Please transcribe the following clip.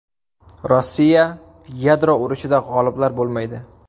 Rossiya: Yadro urushida g‘oliblar bo‘lmaydi.